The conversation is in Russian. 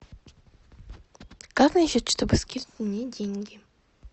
как насчет чтобы скинуть мне деньги